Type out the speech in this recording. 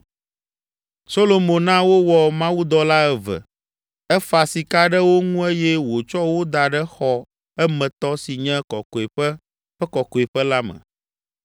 Solomo na wowɔ mawudɔla eve, efa sika ɖe wo ŋu eye wòtsɔ wo da ɖe xɔ, emetɔ, si nye Kɔkɔeƒe ƒe Kɔkɔeƒe la me.